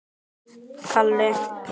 Kobbi stundi.